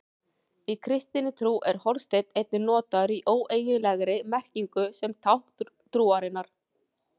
Í kristinni trú er hornsteinn einnig notaður í óeiginlegri merkingu sem tákn trúarinnar.